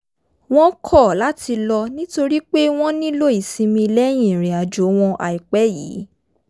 wọ́n kọ̀ láti lọ nítorí pé wọ́n nílò ìsinmi lẹ́yìn ìrìn àjò wọn àìpẹ́ yìí